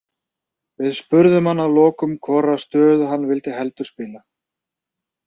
Við spurðum hann að lokum hvora stöðuna hann vill heldur spila.